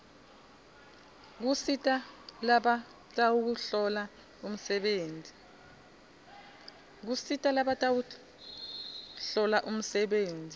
kusita labatawuhlola umsebenti